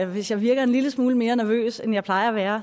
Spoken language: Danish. hvis jeg virker en lille smule mere nervøs end jeg plejer at være